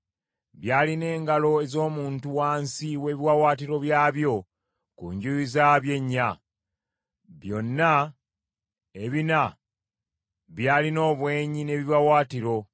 Byalina engalo ez’omuntu wansi w’ebiwaawaatiro byabyo ku njuyi zaabyo ennya. Byonna ebina byalina obwenyi n’ebiwaawaatiro,